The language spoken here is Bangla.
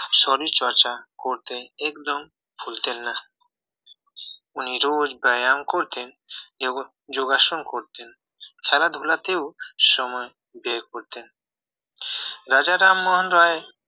শরীর চর্চা করতে একদম ভুলতেন না উনি রোজ ব্যায়াম করতেন এবং যোগাসন করতেন খেলাধুলাতেও সময় বের করতেন রাজা রামমোহন রায়